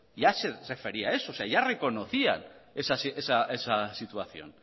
ya se refería a eso o sea ya reconocían esa situación